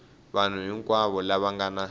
vanhu hinkwavo lava nga na